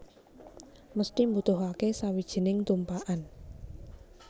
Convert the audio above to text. Mesthi mbutuhake sawijining tumpakan